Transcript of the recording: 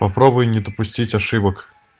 попробуй не допустить ошибок